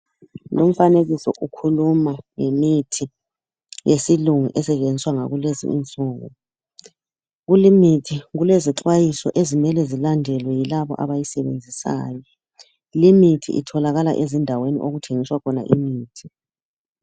Lumfanekiso ukhuluma ngemithi yesilungu esetshenziswa ngakulezi nsuku kulemithi kulezixwayiso ezimele zilandelwe yilabo abayisebenzisayo limithi itholakala ezindaweni okuthengiswa khona imithi.